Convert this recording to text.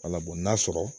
Ala n'a sɔrɔ